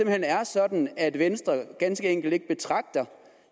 hen er sådan at venstre ganske enkelt ikke betragter